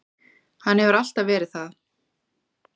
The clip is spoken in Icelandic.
Hann hefur alltaf verið það.